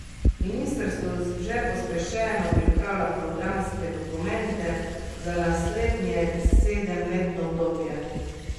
Ministrstvo že pospešeno pripravlja programske dokumente za naslednje sedemletno obdobje.